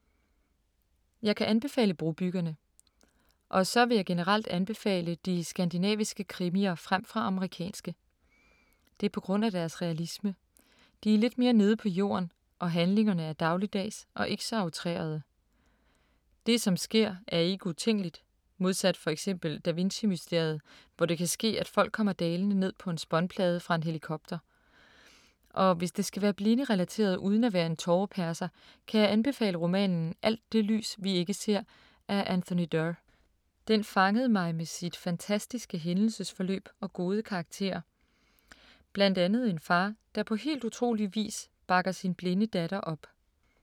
Jeg kan anbefale Brobyggerne. Og så vil jeg generelt anbefale de skandinaviske krimier fremfor amerikanske. Det er på grund af deres realisme. De er lidt mere nede på jorden og handlingerne er dagligdags og ikke så outrerede. Det som sker, er ikke utænkeligt, modsat for eksempel Da Vinci-mysteriet, hvor det kan ske, at folk kommer dalende ned på en spånplade fra en helikopter. Og hvis det skal være blinderelateret uden at være en tåreperser, kan jeg anbefale romanen Alt det lys vi ikke ser af Anthony Doerr. Den fangede mig med sit fantastiske hændelsesforløb og gode karakterer. Blandt andet en far der på helt utrolig vis bakker sin blinde datter op.